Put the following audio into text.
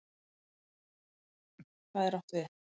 HVAÐ er átt við?